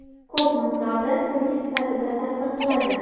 Ko‘p miqdorda surgi sifatida ta’sir qiladi.